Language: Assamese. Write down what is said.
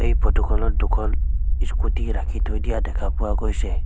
ফটো খনত দুখন ইস্কুটী ৰাখি থৈ দিয়া দেখা পোৱা গৈছে।